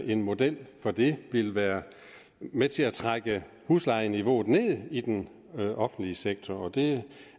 en model for det ville være med til at trække huslejeniveauet ned i den offentlige sektor og det